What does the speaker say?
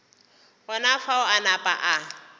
gona fao a napa a